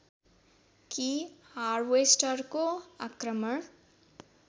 कि हार्वेस्टरको आक्रमण